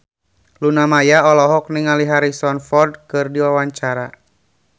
Luna Maya olohok ningali Harrison Ford keur diwawancara